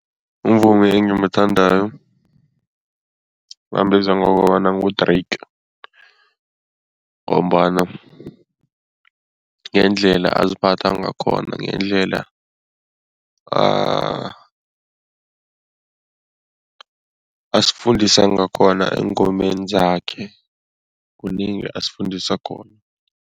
Umvumi engimuthandako bambiza ngokobana ngu-Drake ngombana ngendlela aziphatha ngakhona, ngendlela asifundisa ngakhona eengomeni zakhe, kunengi asifundisa khona.